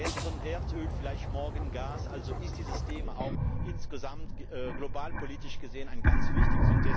Gestern Erdöl, vielleicht morgen Gas, also ist dieses Thema auch insgesamt globalpolitisch gesehen sehr wichtig.